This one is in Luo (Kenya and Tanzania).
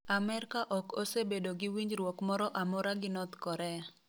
Amerka ok osebedo gi winjruok moro amora gi North Korea.